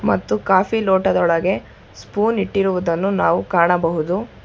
ಮತ್ತು ಕಾಫಿ ಲೋಟದೊಳಗೆ ಸ್ಪೂನ್ ಇಟ್ಟಿರುವುದನ್ನು ನಾವು ಕಾಣಬಹುದು.